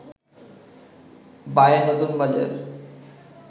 বাঁয়ে নতুন বাজার